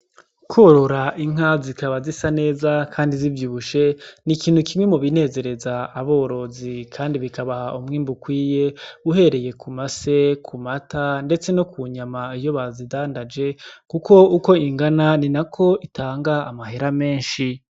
Korora inka zikaba zisa neza kandi zivyibushe ni ikintu kiri mubi nezereza aborozi kandi bikabaha umwimbu ukwiye uhereye ku mase ku mata ndetse no kunyama iyo bazidandaje kuko uko ingana ninako itanga amahera menshi.